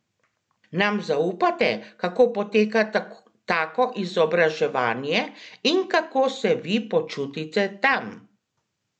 Nam zaupate, kako poteka tako izobraževanje in kako se vi počutite tam?